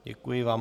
Děkuji vám.